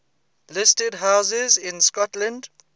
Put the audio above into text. listed houses in scotland